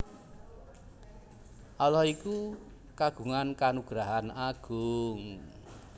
Allah iku kagungan kanugrahan Agung